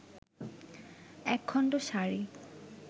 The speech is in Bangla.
একখণ্ড সাড়ি